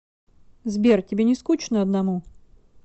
сбер тебе не скучно одному